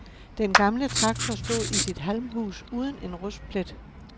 Den gamle traktor stod i sit halmhus uden en rustplet.